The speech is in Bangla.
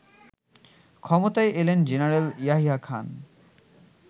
ক্ষমতায় এলেন জেনারেল ইয়াহিয়া খান